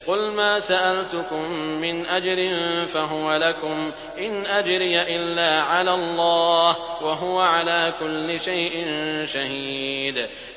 قُلْ مَا سَأَلْتُكُم مِّنْ أَجْرٍ فَهُوَ لَكُمْ ۖ إِنْ أَجْرِيَ إِلَّا عَلَى اللَّهِ ۖ وَهُوَ عَلَىٰ كُلِّ شَيْءٍ شَهِيدٌ